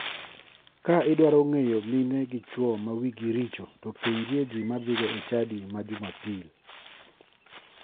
Ka idwaro ng'eyo mine gi chuo ma wigi richo to penjie ji madhiga e chadi ma jumapil.